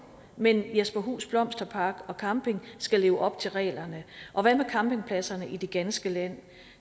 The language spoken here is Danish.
men jesperhus blomsterpark og camping skal leve op til reglerne og hvad med campingpladserne i det ganske land